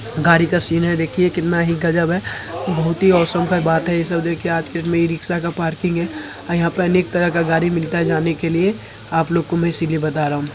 गाड़ी का सीन है देखिए कितना ही गजब है। बोहोत ही ऑसम का बात है‌। रिक्शा का पार्किंग है। यहां पर अनेक तरह का गाड़ी मिलता है जाने के लिए। आप लोगों को मैं इसलिए बता रहा हूं।